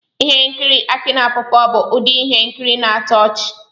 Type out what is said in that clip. Ihe nkiri Aki na pawpaw bụ ụdị ihe nkiri na-atọ ọchị.